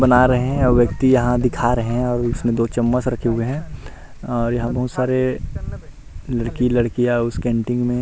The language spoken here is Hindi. बना रहे हैं और व्यक्ति यहां दिखा रहे हैं और उसमें दो चम्मच रखे हुए हैं और यहां बहुत सारे लड़की लड़कियां है उसे कैंटीन में।